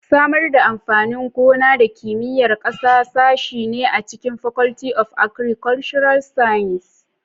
Samar da amfanin gona da Kimiyyar ƙasa sashe ne a cikin Faculty of Agricultural Sciences.